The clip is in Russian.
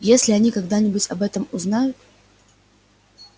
если они когда-нибудь об этом узнают